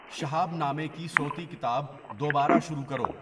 شہاب نامہ کی صوتی کتاب دوبارہ شروع کرو